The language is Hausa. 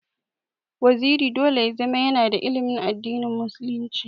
Waziri dole ya zama yana da ilimin addini musulunci.